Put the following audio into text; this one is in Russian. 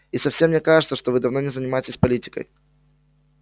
и совсем не кажется что вы давно не занимаетесь политикой